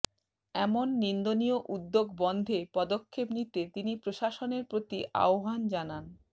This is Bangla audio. এমন নিন্দনীয় উদ্যোগ বন্ধে পদক্ষেপ নিতে তিনি প্রশাসনের প্রতি আহ্বান জানান